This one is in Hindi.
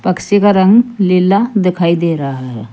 पक्षी का रंग लीला दिखाई दे रहा है।